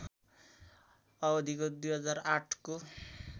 अवधिको २००८को